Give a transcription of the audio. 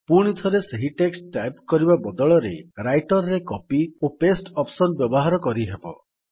ପୁଣିଥରେ ସେହି text type କରିବା ବଦଳରେ ରାଇଟର୍ ରେ କପି ଓ ପାସ୍ତେ ଅପ୍ସନ୍ ର ବ୍ୟବହାର କରିହେବ